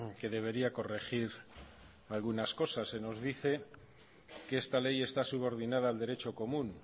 que debería corregir algunas cosas se nos dice que esta ley está subordinada al derecho común